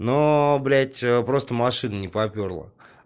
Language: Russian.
но блять ээ просто машину не попёрло